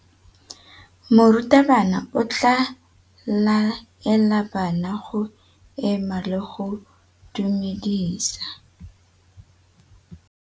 Morutabana o tla laela bana go ema le go go dumedisa.